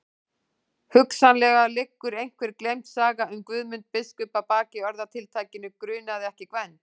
Hugsanlega liggur einhver gleymd saga um Guðmund biskup að baki orðatiltækinu grunaði ekki Gvend.